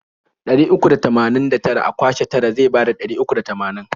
Ɗari uku da tamanin da tara a kwashe tara zai bada ɗari uku da tamanin.